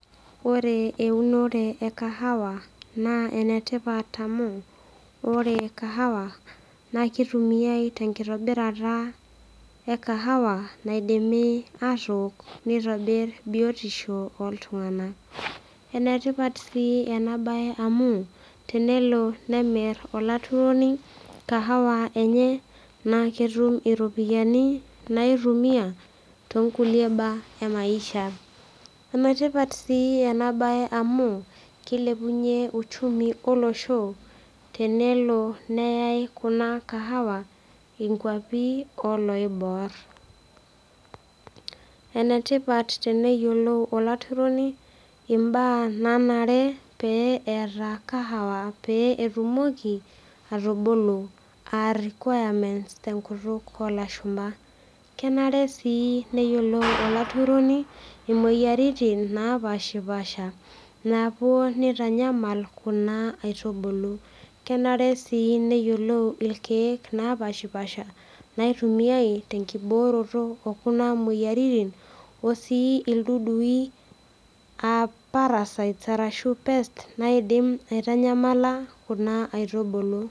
Ore e eunore e kahawa naa enetipat amu ore kahawa naa kitumiae tenkitobirata e kahawa naidimi atook nitobirr biotisho oltung'anak enetipat sii ena baye amu tenelo nemirr olaturoni kahawa enye naa ketum iropiyiani naitumia tonkulie baa emaisha enetipat sii ena baye amu kilepunyie uchumi olosho tenelo neyai kuna kahawa inkuapi oloiborr enetipat teneyiolou olaturoni imbaa nanare pee eeta kahawa pee etumoki atubulu aa requirements tenkutuk olashumpa kenare sii neyiolou olaturoni imoyiaritin napashipasha napuo nitanyamal kuna aitubulu kenare sii neyiolou ilkeek napashipasha naitumiae tenkibooroto okuna moyiaritin o sii ildudui aa parasites arashu pests naidim aitanyamala kuna aitubulu.